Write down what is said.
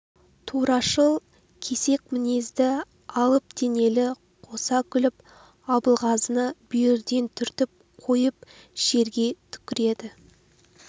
турашыл кесек мінезді алып денелі қоса күліп абылғазыны бүйірден түртіп қойып жерге түкіреді